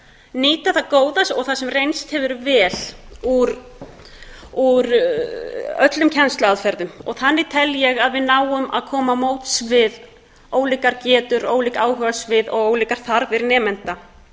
nýta það góða og það sem reynst hefur vel úr öllum kennsluaðferðum þannig tel ég að við náum að koma á móts við ólíkar getur ólík áhugasvið og ólíkar þarfir nemenda